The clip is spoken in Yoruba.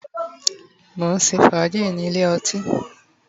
mo nse faaji ni Ile oti